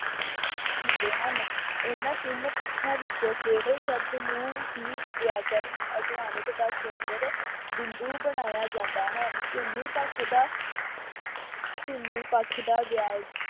ਹੁੰਦੇ ਹਨ। ਇਹਨਾਂ ਤਿੰਨ ਪੱਖਾਂ ਵਿੱਚੋ ਕੇਵਲ ਸ਼ਬਦ ਨੂੰ ਹੀ ਵਿਆਕਰਨ ਅਧਿਆਨਕ ਦਾ ਕੇਂਦਰ ਬਿੰਦੂ ਬਣਾਇਆ ਜਾਂਦਾ ਹੈ। ਧੁਨੀ ਪੱਖ ਦਾ ਧੁਨੀ ਪੱਖ ਦਾ ਵੇਆ